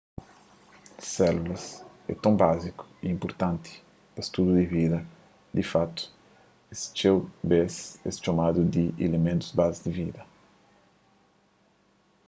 sélulas é ton báziku y inpurtanti pa studu di vida di fatu es txeu bês es txomadu di iliméntus bazi di vida